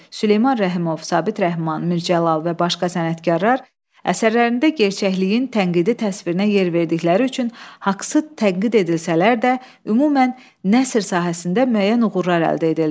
Süleyman Rəhimov, Sabit Rəhman, Mir Cəlal və başqa sənətkarlar əsərlərində gerçəkliyin tənqidi təsvirinə yer verdikləri üçün haqsız tənqid edilsələr də, ümumən nəsr sahəsində müəyyən uğurlar əldə edildi.